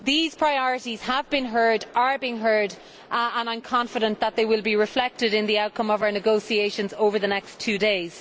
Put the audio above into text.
These priorities have been heard and are being heard, and I am confident that they will be reflected in the outcome of our negotiations over the next two days.